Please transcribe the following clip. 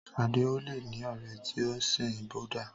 Sadé ò le ní ọ̀rẹ́ tí o sin Búdà.